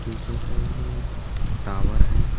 पीछे साइड मे एक टावर हे.